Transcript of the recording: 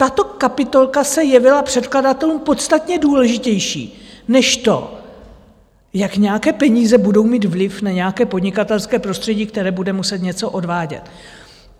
Tato kapitolka se jevila předkladatelům podstatně důležitější než to, jak nějaké peníze budou mít vliv na nějaké podnikatelské prostředí, které bude muset něco odvádět.